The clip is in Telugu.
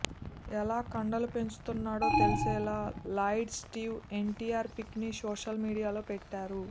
ఎలా కండలు పెంచుతున్నాడో తెలిసేలా లాయిడ్ స్టీవ్ ఎన్టీఆర్ పిక్ ని సోషల్ మీడియాలో పెట్టారు